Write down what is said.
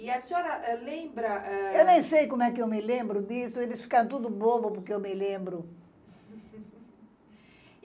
E a senhora lembra eh... Eu nem sei como é que eu me lembro disso, eles ficam todos bobos porque eu me lembro.